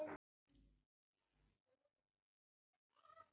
vera á braut um sólina